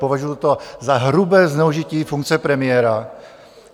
Považuju to za hrubé zneužití funkce premiéra.